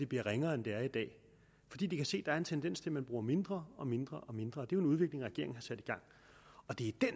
bliver ringere end den er i dag fordi de kan se der er en tendens til at man bruger mindre og mindre og mindre og det er